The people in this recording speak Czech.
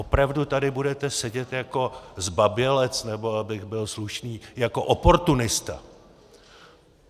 Opravdu tady budete sedět jako zbabělec, nebo abych byl slušný, jako oportunista?